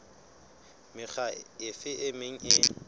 mekga efe e meng e